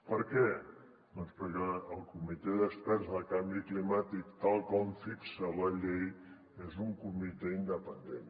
per què doncs perquè el comitè d’experts sobre canvi climàtic tal com fixa la llei és un comitè independent